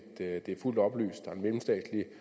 mellemstatsligt